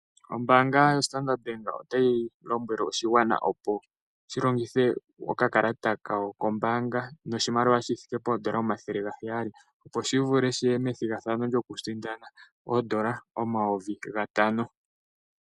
Ombanga yoStandard bank otayi lombwele oshigwana opo shilongithe okakalata kawo kombanga noshimaliwa shithike poodola omathele gaheyali opo shi vule shiye methigathano lyoku sindana oodola omayovi gatano.